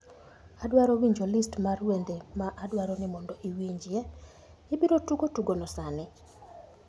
adwaro winjo list mar wende ma adwaro ni mondo iwinjie. Ibiro tugo tugono sani?